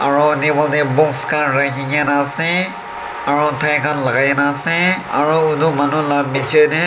aru table te book khan rakhi kena ase aru taikhan lagai kena ase aru etu manu laga piche te.